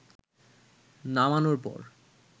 নামানোর পর